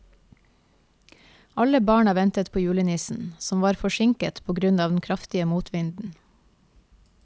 Alle barna ventet på julenissen, som var forsinket på grunn av den kraftige motvinden.